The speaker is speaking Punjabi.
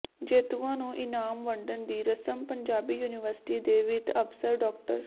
ਜੇਤੂਆਂ ਨੂੰ ਇਨਾਮ ਵੰਡਣ ਦੀ ਰਸਮ ਪੰਜਾਬੀ ਯੂਨੀਵਰਸਿਟੀ ਦੇ ਵਿੱਤ ਅਫਸਰ ਡਾ